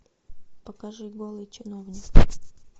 покажи голый чиновник